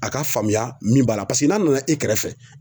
A ka faamuya min b'a la n'a nana e kɛrɛfɛ